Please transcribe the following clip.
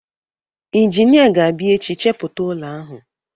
Injinia ga-abịa echi chepụta ụlọ ahụ.